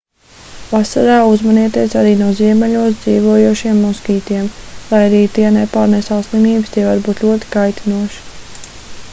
vasarā uzmanieties arī no ziemeļos dzīvojošajiem moskītiem lai arī tie nepārnēsā slimības tie var būt ļoti kaitinoši